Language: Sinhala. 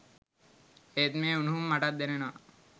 ඒත් මේ උණුහුම මටත් දැනෙනවා.